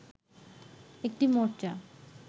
একটি মোর্চা